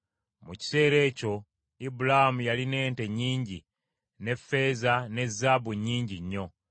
Mu kiseera ekyo Ibulaamu yalina ente nnyingi, ne ffeeza ne zaabu nnyingi nnyo.